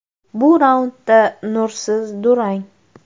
Bu raundda nursiz durang.